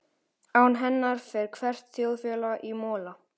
Án hennar fer hvert þjóðfélag í mola.